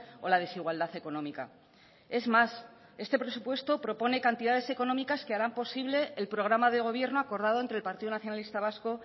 o la desigualdad económica es más este presupuesto propone cantidades económicas que harán posible el programa de gobierno acordado entre el partido nacionalista vasco